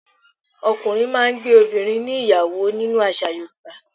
Ọkùnrin máà ń gbé obìrin níyàwó nínú àṣà Yorùbá